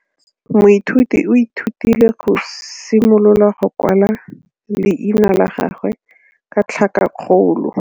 Moithuti o ithutile go simolola go kwala leina la gagwe ka tlhakakgolo.